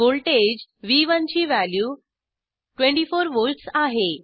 voltage व्ह1 ची value 24 volts आहे